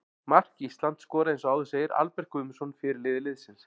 Mark Ísland skoraði eins og áður segir Albert Guðmundsson, fyrirliði liðsins.